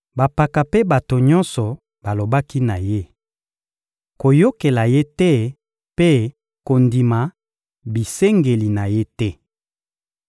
Bampaka mpe bato nyonso balobaki na ye: — Koyokela ye te mpe kondima bisengeli na ye te.